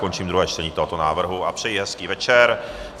Končím druhé čtení tohoto návrhu a přeji hezký večer.